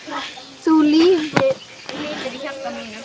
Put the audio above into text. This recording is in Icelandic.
Þú lifir í hjarta mínu.